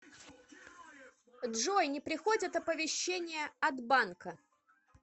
джой не приходят оповещения от банка